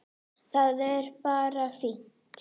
Það er bara fínt!